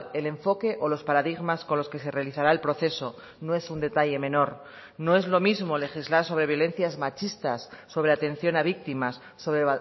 el enfoque o los paradigmas con los que se realizará el proceso no es un detalle menor no es lo mismo legislar sobre violencias machistas sobre atención a víctimas sobre